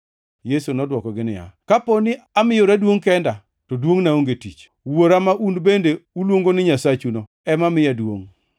Yesu nodwokogi niya, “Ka dipo ni amiyora duongʼ kenda, to duongʼna onge tich. Wuora, ma un bende uluongo ni Nyasachuno ema miya duongʼ.